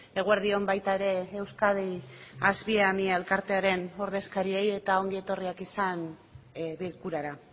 eguerdi on baita ere euskadi asviamie elkartearen ordezkariei eta ongi etorriak izan bilkurara